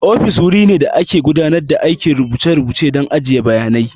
Ofis wuri ne da ake gudanar da aikin rubuce-rubuce da ajiye bayanai.